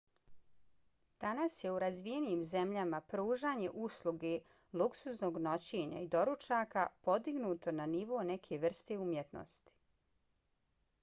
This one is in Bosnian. danas je u razvijenim zemljama pružanje usluge lugsuznog noćenja i doručaka podignuto na nivo neke vrste umjetnosti